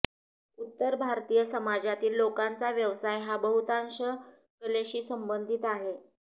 उत्तर भारतीय समाजातील लोकांचा व्यवसाय हा बहुतांश कलेशी संबंधित आहे